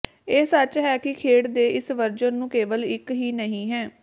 ਇਹ ਸੱਚ ਹੈ ਕਿ ਖੇਡ ਦੇ ਇਸ ਵਰਜਨ ਨੂੰ ਕੇਵਲ ਇੱਕ ਹੀ ਨਹੀ ਹੈ